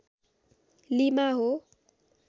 lima हो